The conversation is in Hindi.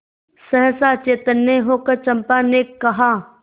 सहसा चैतन्य होकर चंपा ने कहा